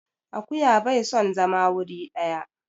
Akuya bai son zama wuri ɗaya.